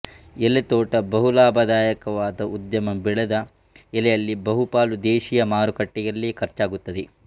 ಎಲೆತೋಟ ಬಹು ಲಾಭದಾಯಕವಾದ ಉದ್ಯಮ ಬೆಳೆದ ಎಲೆಯಲ್ಲಿ ಬಹುಪಾಲು ದೇಶೀಯ ಮಾರುಕಟ್ಟೆಯಲ್ಲೇ ಖರ್ಚಾಗುತ್ತದೆ